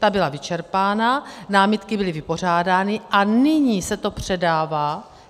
Ta byla vyčerpána, námitky byly vypořádány a nyní se to předává.